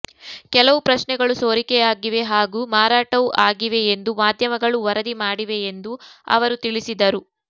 ಕೆಲವು ಪ್ರಶ್ನೆಗಳು ಸೋರಿಕೆಯಾಗಿವೆ ಹಾಗೂ ಮಾರಾಟವೂ ಆಗಿವೆಯೆಂದು ಮಾಧ್ಯಮಗಳು ವರದಿ ಮಾಡಿವೆಯೆಂದು ಅವರು ತಿಳಿಸಿದರು